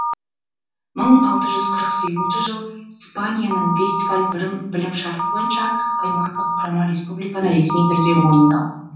мың алты жүз қырық сегізінші жылы испанияның вестфаль білім шарты бойынша аймақтық құрама республиканы ресми түрде мойындау